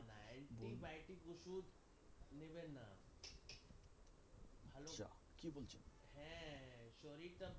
ওষুধ নেবেন না হ্যাঁ শরীরটা ভালো